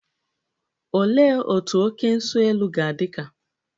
Olee otú oké nso-elu ga-adị ka?